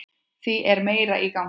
Þá er meira í gangi.